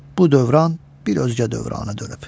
Bu dövran bir özgə dövrana dönüb.